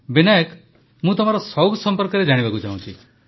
ବିନାୟକ ମୁଁ ତମର ସଉକ ସମ୍ପର୍କରେ ଜାଣିବାକୁ ଚାହୁଁଛି